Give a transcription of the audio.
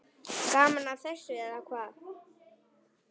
Gaman að þessu, eða hvað?